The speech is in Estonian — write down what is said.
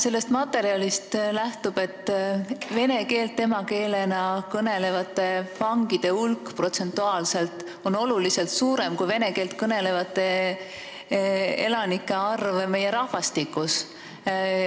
Sellest materjalist lähtub, et vene keelt emakeelena kõnelevate vangide hulk on protsentuaalselt oluliselt suurem kui vene keelt kõnelevate elanike osa rahvastikus.